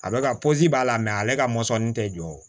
A bɛ ka b'a la ale ka mɔsɔnni tɛ jɔ o